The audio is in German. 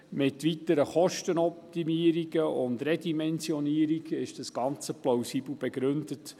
Mit weiteren Kostenoptimierungen und Redimensionierungen wurde das Ganze plausibel begründet.